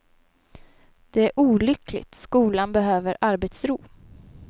Det är olyckligt, skolan behöver arbetsro.